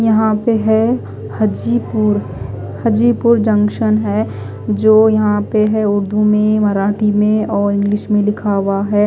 यहा पे है हजीपुर हजीपुर जक्सन है जो यहा पे है उर्दू में मराठी में और इंग्लिश में लिखा हुआ है।